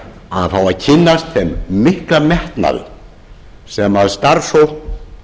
að fá að kynnast þeim mikla metnaði sem starfsfólk